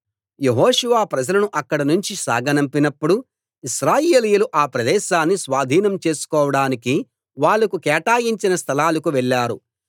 యెహోషువ ప్రజలను అక్కడ నుంచి సాగనంపినప్పుడు ఇశ్రాయేలీయులు ఆ ప్రదేశాన్ని స్వాధీనం చేసుకోడానికి వాళ్ళకు కేటాయించిన స్థలాలకు వెళ్లారు